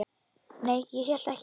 Nei, ég hélt ekki.